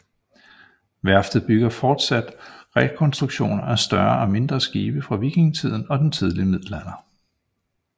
Værftet bygger fortsat rekonstruktioner af større og mindre skibe fra vikingetiden og den tidlige middelalder